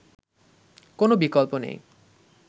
কোন বিকল্প নেই